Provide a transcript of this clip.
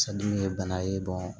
ye bana ye